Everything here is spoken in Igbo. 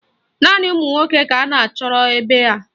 Naanị ụmụnwoke ka anyị chọrọ ebe a.